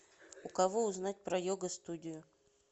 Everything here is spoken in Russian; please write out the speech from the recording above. у кого узнать про йога студию